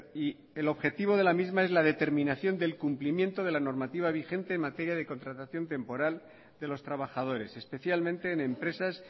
y el objetivo de la misma es la determinación del cumplimiento de la normativa vigente en materia de contratación temporal de los trabajadores especialmente en empresas